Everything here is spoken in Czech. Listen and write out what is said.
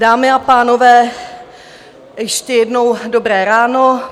Dámy a pánové, ještě jednou dobré ráno.